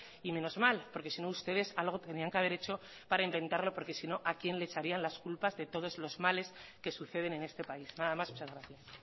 y menos mal porque sino ustedes algo tenían que haber hecho para inventarlo porque sino a quien le echarían las culpas de todos los males que suceden en este país nada más muchas gracias